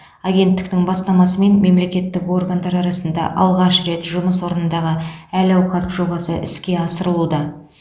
агенттіктің бастамасымен мемлекеттік органдар арасында алғаш рет жұмыс орнындағы әл ауқат жобасы іске асырылуда